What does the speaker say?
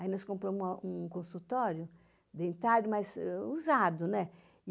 Aí nós compramos uma um consultório dentário, mas usado, né?